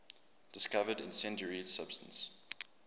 discovered incendiary substance